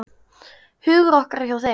Hugur okkar er hjá þeim.